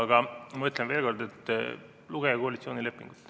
Aga ma ütlen veel kord, et lugege koalitsioonilepingut.